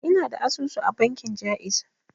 Ina da asusu a bankin ja'iz.